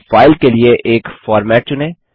अब फाइल के लिए एक फॉर्मेट चुनें